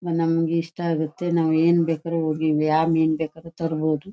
ನಮ್ಮಂಗೆ ಇಷ್ಟ ಆಗುತೆ ನಾವು ಏನ್ಬೇಕಾದ್ರೂ ಹೋಗಿ ಯಾವ ಮೀನ್ ಬೇಕಾದ್ರು ತರಬೋದು.